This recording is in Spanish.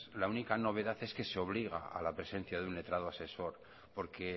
la única novedad es que se obliga a la presencia de un letrado asesor porque